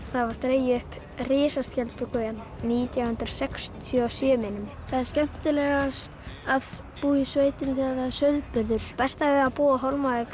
það var dregin upp risaskjaldbaka hérna nítján hundruð sextíu og sjö minnir mig það er skemmtilegast að búa í sveitinni þegar er sauðburður besta við það að búa á Hólmavík